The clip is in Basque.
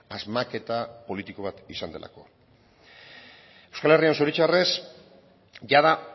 asmaketa politiko bat izan delako euskal herrian zoritzarrez jada